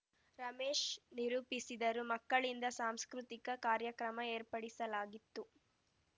ರಮೇಶ್‌ ನಿರೂಪಿಸಿದರುಮಕ್ಕಳಿಂದ ಸಾಂಸ್ಕೃತಿಕ ಕಾರ್ಯಕ್ರಮ ಏರ್ಪಡಿಸಲಾಗಿತ್ತು